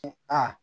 Aa